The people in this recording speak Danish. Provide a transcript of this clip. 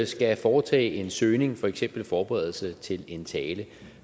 skal foretage en søgning for eksempel i forberedelse til en tale